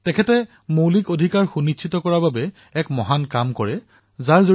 তেওঁ মৌলিক অধিকাৰসমূহ সুনিশ্চিত কৰাৰ বাবে গুৰুত্বপূৰ্ণ ভূমিকা পালন কৰিছিল